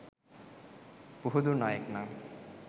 පුහුදුන් අයෙක් නම්